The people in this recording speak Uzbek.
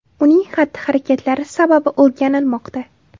Uning xatti-harakatlari sababi o‘rganilmoqda.